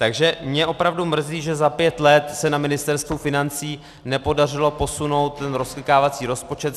Takže mě opravdu mrzí, že za pět let se na Ministerstvu financí nepodařilo posunout ten rozklikávací rozpočet.